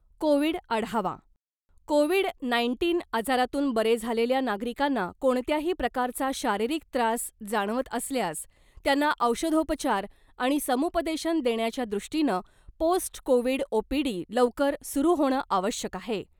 Covid आढावा covid nineteen आजारातून बरे झालेल्या नागरिकांना कोणत्याही प्रकारचा शारीरिक त्रास जाणवत असल्यास त्यांना औषधोपचार आणि समुपदेशन देण्याच्या दृष्टीनं ' पोस्ट कोविड ओपीडी ' लवकर सुरु होणं आवश्यक आहे .